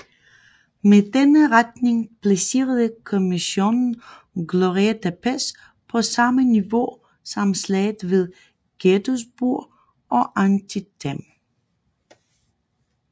Med denne rating placerede kommissionen Glorieta Pass på samme niveau som slaget ved Gettysburg og Antietam